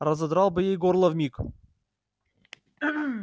разодрал бы ей горло вмиг